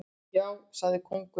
Já, sagði kóngurinn.